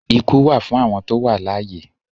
Ikú wà fún awọn tó wà alàìyé